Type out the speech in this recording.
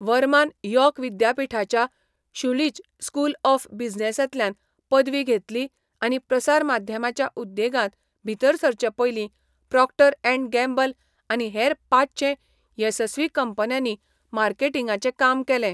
वर्मान York विद्यापिठाच्या शुलीच school of बिझनेसांतल्यान पदवी घेतली आनी प्रसारमाध्यमाच्या उद्येगांत भीतर सरचे पयलीं प्रॉक्टर अँड गॅम्बल आनी हेर पांचशें येसस्वी कंपन्यांनी मार्केटिंगांचें काम केलें.